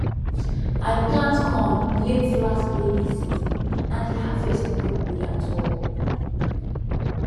i plant corn late last rainy season and the harvest no good at all